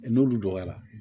N'olu dɔgɔyara